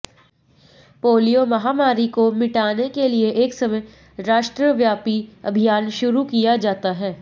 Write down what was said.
polio महामारी को मिटाने के लिए एक समय राष्ट्रव्यापी अभियान शुरू किया जाता है